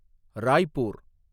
Raipur